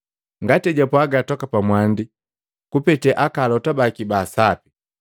Ngati ejapwaga toka pamwandi kupete alota baki baa Sapi.